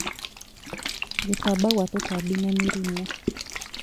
Gũtamba Kwa tũtambi na mĩrimũ